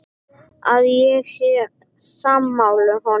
Að ég sé sammála honum.